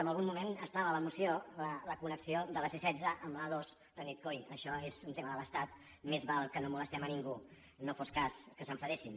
en algun moment estava a la moció la connexió de la c·setze amb la a·dos però han dit coi això és un tema de l’estat més val que no molestem ningú no fos cas que s’enfadessin